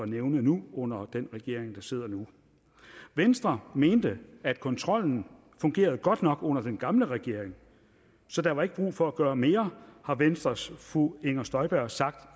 nævne nu under den regering der sidder nu venstre mente at kontrollen fungerede godt nok under den gamle regering så der var ikke brug for at gøre mere har venstres fru inger støjberg sagt